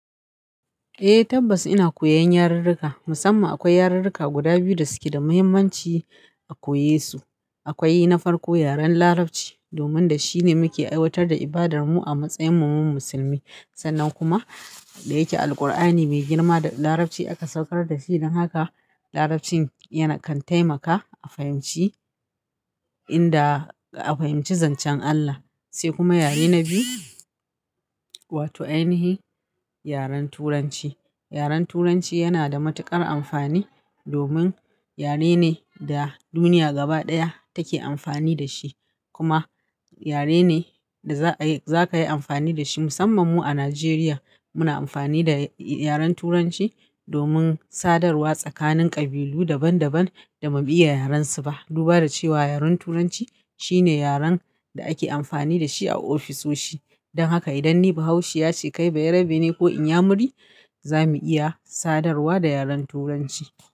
Eh tabbas ina koyan yarurruka, musamman akwai yarurruka guda biyu da suke da muhimmanci a koyesu. Akwai na farko yaren larabci domin shine muke aiwatar da ibadar mu a matsayin mu musulmi. Sannan kuma da yake Alkur'ani mai girma da larabci aka saukar da shi, don haka larabcin yana kan taimaka a fahimci inda a fahimci zancen Allah. Sai kuma yare na biyu, wato ainihi yaren turanci. Yaren turanci yana da matuƙar amfani domin yare ne da duniya gaba ɗaya take amfani da shi, kuma yare ne da za a yi-- za ka yi amfani da shi musamman mu a Najeriya muna amfani da yaren turanci domin sadarwa tsakanin ƙabilu daban daban da ba iya yaren su ba. Duba da cewa yaren turanci shine yaren da ake amfani da shi a ofisoshi. Don haka idan ni bahaushiya ce kai bayerbe ne ko inyamuri, za mu iya sadarwa da yaren turanci.